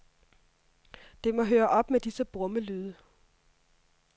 Det må høre op med disse brummelyde.